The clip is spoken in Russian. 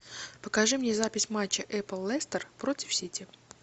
покажи мне запись матча апл лестер против сити